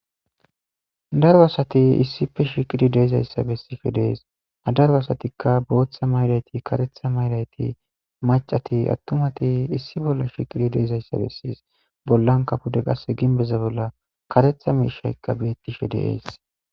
daro asati issife shiqidi deezayssa bessife dees adaru asatikka booththa maylayti katetha maylayti macati attumati issi bolla shiqidi deezayssa bessies bollan kapude qass ginbeza bolla katetha miishaykka beettishe de'ees